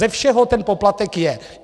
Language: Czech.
Ze všeho ten poplatek je.